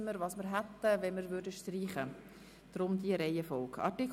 Zuerst stimmen wir über den Antrag Schindler ab;